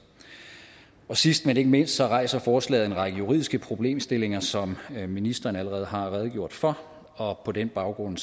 sidst men ikke mindst rejser forslaget en række juridiske problemstillinger som ministeren allerede har redegjort for og på den baggrund